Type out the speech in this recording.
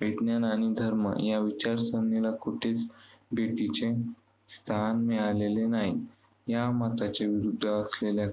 विज्ञान आणि धर्म या विचारसरणीला कुठेच स्थान मिळालेले नाही. या मताच्या विरुद्ध असलेल्या